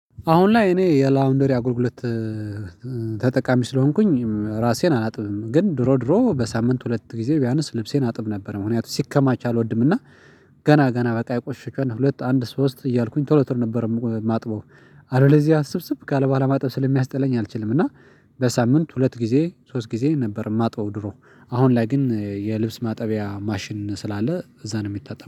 አሁን ላይ እኔ የላውንደሪ አጉልግሎት ተጠቃሚ ስለሆንኩኝ ራሴን አላጥብም። ግን ድሮ ድሮ በሳምንት ሁለት ጊዜ ቢያንስ ልብሴን አጥብ ነበር ምክንያቱም ሲከማች አልወድምና። ገና ገና በቃ የቆሸሸ ከሆነ ሁለት አንድ ሶስት እያልኩኝ ቶሎ ቶሎ ነበር ማጥበው። አለበለዚያ ስብስብ ካለ በኋላ ማጠብ ስለሚያስጥለኝ አልችልም። እና በሳምንት ሁለት ጊዜ ሶስት ጊዜ ነበር ማጥበው። ድሮ አሁን ላይ ግን የልብስ ማጠቢያ ማሽን ስላለ እዛ ነው የሚታጠበው